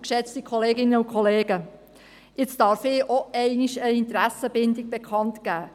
Für einmal darf auch ich eine Interessenbindung bekannt geben.